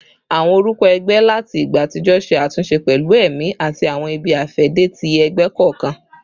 Awọn orukọ ẹgbẹ lati igba atijọ ṣe atunṣe pẹlu ẹmi ati awọn ibi-afẹde ti ẹgbẹ kọọkan